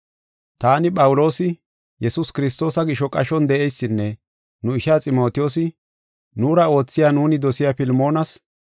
Taani Phawuloosi, Yesuus Kiristoosa gisho qashon de7eysinne nu ishaa Ximotiyoosi, nuura oothiya nuuni dosiya Filmoonas,